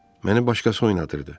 Məni başqası oynadırdı.